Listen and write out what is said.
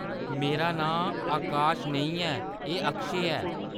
मेरा नांऽ आकाश नेईं ऐ, एह्‌‌ अक्षय ऐ।